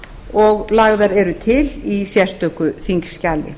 og lagðar eru til í sérstöku þingskjali